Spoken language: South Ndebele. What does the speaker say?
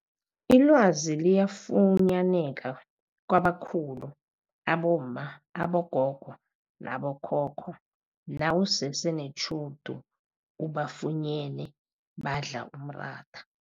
Ilwazi liyafunyaneka kwabakhulu abomma, abogogo nabo khokho nawusese netjhudu ubafunyene badla umratha.